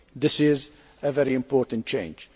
This is a very important change.